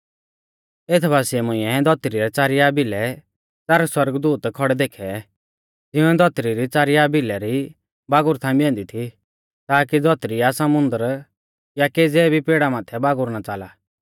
एथ बासिऐ मुंइऐ धौतरी रै च़ारिया भिलै च़ार सौरगदूत खौड़ै देखै तिंउऐ धौतरी री च़ारिया भिला री बागुर थांबी ऐन्दी थी ताकी धौतरी या समुन्दर या केज़ै भी पेड़ा माथै बागुर ना च़ाला